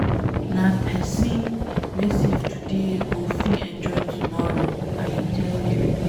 Nah pesin wey save today go fit enjoy tomorrow, I dey tell you.